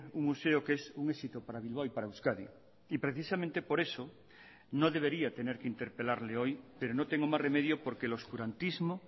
un museo que es un éxito para bilbao y para euskadi y precisamente por eso no debería tener que interpelarle hoy pero no tengo más remedio porque el oscurantismo